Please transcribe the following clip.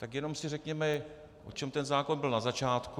Tak jenom si řekněme o čem ten zákon byl na začátku.